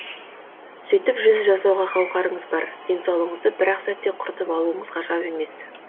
сөйтіп жүз жасауға қауқарыңыз бар денсаулығыңызды бір ақ сәтте құртып алуыңыз ғажап емес